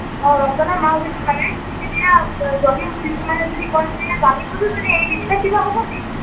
অ ৰমজানৰ মাহ যিটো মানে, এতিয়া যদি কিছুমানে যদি কয় যে জানি বুজিও এৰি দিছে কিবা হব নেকি?